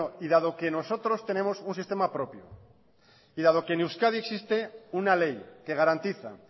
y dado que nosotros tenemos un sistema propio y dado que en euskadi existe una ley que garantiza